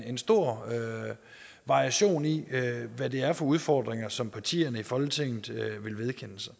en stor variation i hvad det er for udfordringer som partierne i folketinget vil vedkende sig